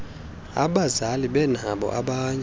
abazali benabo abanye